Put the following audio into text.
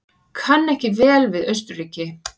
Kann ekki vel við Austurríki.